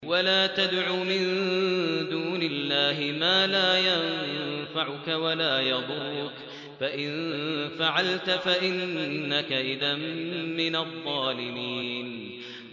وَلَا تَدْعُ مِن دُونِ اللَّهِ مَا لَا يَنفَعُكَ وَلَا يَضُرُّكَ ۖ فَإِن فَعَلْتَ فَإِنَّكَ إِذًا مِّنَ الظَّالِمِينَ